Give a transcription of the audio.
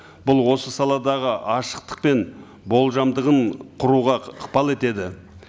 бұл осы саладағы ашықтық пен болжамдығын құруға ықпал етеді